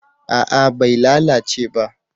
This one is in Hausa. a'a bai lalace ba